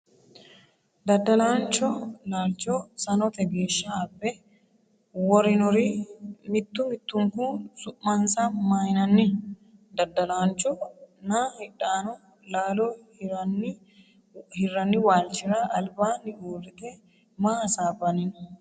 Daddalaanchu laalcho sanote geeshsha abbe worinori mittu mittunku su'mansa maynanni ? Daddalaanchu nna hidhanno laalo hirranni walchira albaanni uurrite maa hasaabbanni no.?